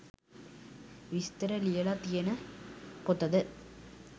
විස්තර ලියල තියන පොතද?